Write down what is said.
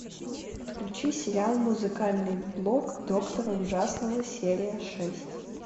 подключи сериал музыкальный блог доктора ужасного серия шесть